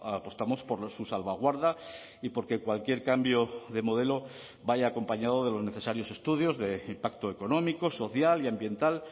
apostamos por su salvaguarda y porque cualquier cambio de modelo vaya acompañado de los necesarios estudios de impacto económico social y ambiental